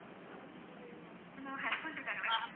hello husband இருக்காங்களே ma'am